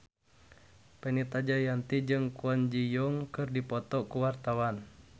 Fenita Jayanti jeung Kwon Ji Yong keur dipoto ku wartawan